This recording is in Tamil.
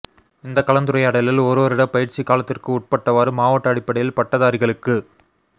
இந்தக் கலந்துரையாடலில் ஒரு வருடப் பயிற்சிக் காலத்திற்குட்பட்டவாறு மாவட்ட அடிப்படையில் பட்டதாரிகளுக்குக்